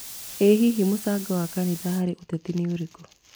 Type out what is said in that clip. Ĩ hihi mũcango wa kanitha harĩ ũteti nĩ ũrĩkũ?